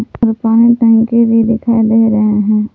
पानी टंकी भी दिखाई दे रहे हैं।